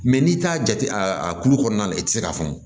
n'i t'a jate a a a kulu kɔnɔna na i tɛ se k'a fɔ